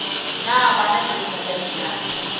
na bana dienywa tša lenyalo